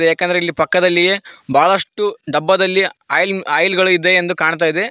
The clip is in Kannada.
ಯಾಕಂದ್ರೆ ಇಲ್ಲಿ ಪಕ್ಕದಲ್ಲಿಯೇ ಬಹಳಷ್ಟು ಡಬ್ಬದಲ್ಲಿ ಆಯಿಲ್ ಆಯಿಲ್ಗಳಿದೆ ಎಂದು ಕಾಣ್ತಾ ಇದೆ.